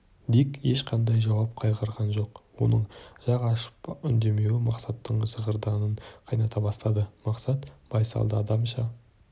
дик ешқандай жауап қайырған жоқ оның жақ ашып үндемеуі мақсаттың зығырданын қайната бастады мақсат байсалды адамша